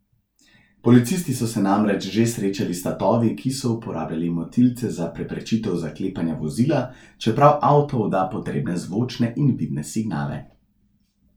Policisti so se namreč že srečali s tatovi, ki so uporabljali motilce za preprečitev zaklepanja vozila, čeprav avto odda potrebne zvočne in vidne signale.